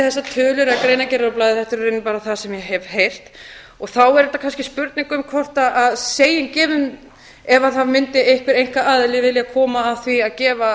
þessar tölur eða greinargerðir á blaði þetta er í rauninni bara það sem ég hef heyrt og þá er þetta kannski spurning um hvort segjum að það mundi einhver einkaaðili vilja koma að því að gefa